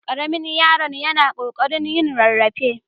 Ƙaramin yaron yana ƙoƙarin yin rarrafe.